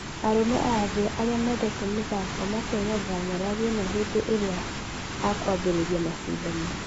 Arũme a thĩ arĩa mendete mithako makegegera nyarari ĩno hende ĩria akũambirĩria mashidano .